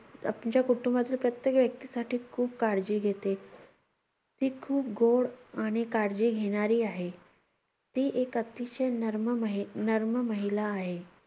आमच्या कुटुंबातील प्रत्येक व्यक्तीसाठी खूप काळजी घेते. ती खूप गोड आणि काळजी घेणारी आहे. ती एक अतिशय नर्म महि~ नर्म महिला आहे.